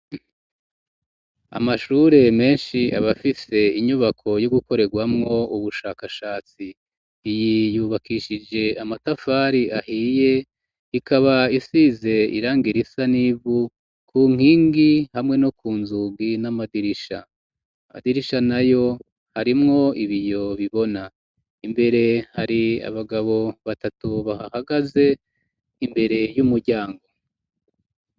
Amashure menshi aba afise inyubako yo gukorerwamwo ubushakashatsi, iyi yubakishije amatafari ahiye, ikaba isize irangi risa n'ivu ku nkingi hamwe no ku nzugi n'amadirisha, amadirisha nayo arimwo ibiyo bibona, imbere hari abagabo batatu bahahagaze imbere y'umuryango.